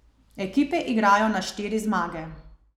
Ekipe igrajo na štiri zmage.